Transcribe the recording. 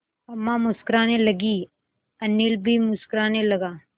अम्मा मुस्कराने लगीं अनिल भी मुस्कराने लगा